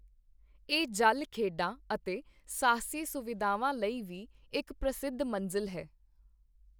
ਇਹ ਜਲ ਖੇਡਾਂ ਅਤੇ ਸਾਹਸੀ ਸੁਵਿਧਾਵਾਂ ਲਈ ਵੀ ਇੱਕ ਪ੍ਰਸਿੱਧ ਮੰਜ਼ਿਲ ਹੈ।